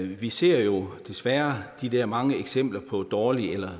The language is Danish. vi ser jo desværre de der mange eksempler på dårlig